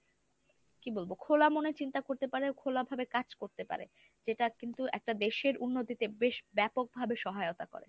কি বলবো? খোলা মনে চিন্তা করতে পারো খোলা ভাবে কাজ করতে পারে যেটা যেটা কিন্তু একটা দেশের উন্নতিতে বেশ ব্যাপকভাবে সহায়তা করে।